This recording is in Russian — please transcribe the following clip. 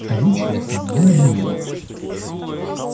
скажу честно мне надоело